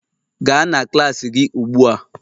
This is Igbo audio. Gaa na klas gị ugbu a